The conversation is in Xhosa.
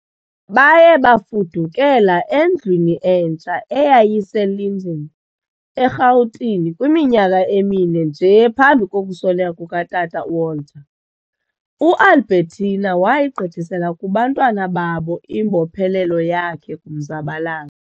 Baye bafudukela endlwini entsha eyayise- Linden, eRhawutini kwiminyaka emine nje phambi kokusweleka kuka tata u- Walter, U- Albertina wayigqithisela kubantwana babo imbophelelo yakhe kumzabalazo.